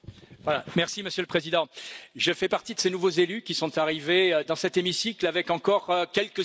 Monsieur le Président, je fais partie de ces nouveaux élus qui sont arrivés dans cet hémicycle avec encore quelques illusions.